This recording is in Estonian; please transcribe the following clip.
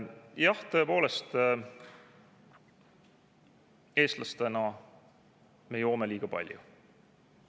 Jah, tõepoolest, eestlastena me joome liiga palju.